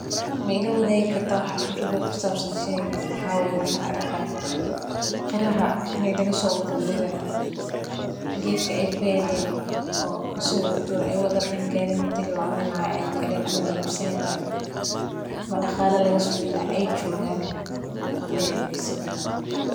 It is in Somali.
Ma ila waadigi kartaa waxa khibrad ah oo ku sabsan howshan waxaa waye qaraha lasoo gure.